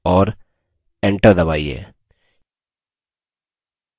और enter दबाइए